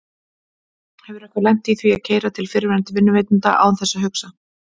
Hefur einhver lent í því að keyra til fyrrverandi vinnuveitanda án þess að hugsa?